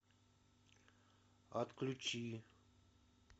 отключи